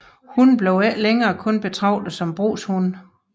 Hunde blev ikke længere kun betragtet som brugshunde